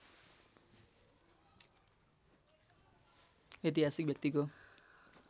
ऐतिहासिक व्यक्तिको